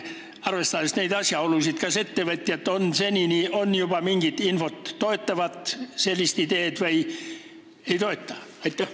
Arvestades neid asjaolusid, kas ettevõtjatelt on juba mingit infot, kas nad toetavad sellist ideed või ei toeta?